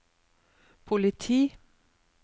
politi